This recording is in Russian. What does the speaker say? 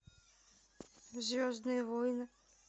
звездные войны